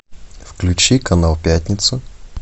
включи канал пятница